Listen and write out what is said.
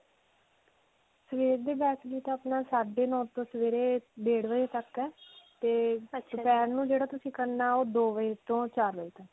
ਸਵੇਰ ਦੇ batch ਦੀ ਤਾਂ ਅਪਨਾ ਸਾਡੇ ਨੂੰ ਤੋਂ ਸਵੇਰੇ ਡੇਢ ਵਜੇ ਤੱਕ ਹੈ ਔਰ ਦੋਪਿਹਾਰ ਨੂੰ ਜਿਹੜਾ ਤੁਸੀਂ ਕਰਨਾ ਹੈ ਓਹ ਦੋ ਵਜੇ ਤੋ ਚਾਰ ਵਜੇ ਤੱਕ ਹੈ.